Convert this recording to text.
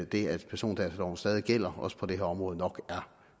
det at persondataloven stadig gælder også på det her område nok er